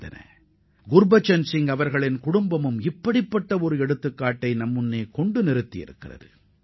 திருவாளர் குர்பச்சன் சிங்கின் குடும்பத்தினர் அதுபோன்றதொரு உதாரணத்தை நமக்கு எடுத்துக்காட்டியுள்ளனர்